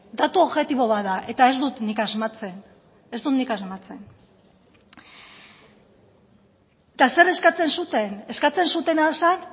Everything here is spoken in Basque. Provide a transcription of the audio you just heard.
datu objektibo bat da eta ez dut nik asmatzen eta zer eskatzen zuten eskatzen zutena zen